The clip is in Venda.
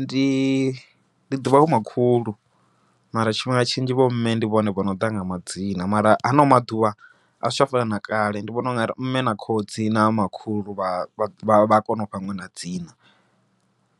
Ndi ndi ḓuvha vho makhulu, mara tshifhinga tshinzhi vho mme ndi vhone vhono ḓa na madzina, mara hano maḓuvha a zwi tsha fana na kale. Ndi vhona ungari mme na khotsi na makhulu vha kona ufha ṅwana dzina,